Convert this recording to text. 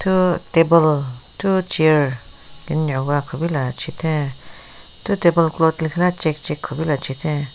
Thu table thu chair kenyüwa kupila chitheng thu table cloth lekhile check check kupila chitheng.